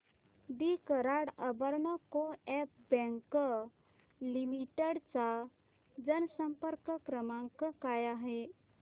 दि Karad urban co-op bank limited चा जनसंपर्क क्रमांक काय आहे